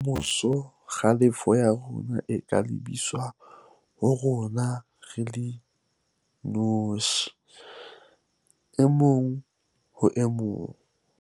Ka moso, kgalefo ya rona e ka lebiswa ho rona re le inotshi - e mong ho e mong